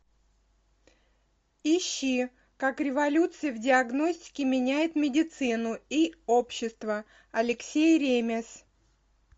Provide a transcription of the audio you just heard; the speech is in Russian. ищи как революция в диагностике меняет медицину и общество алексей ремез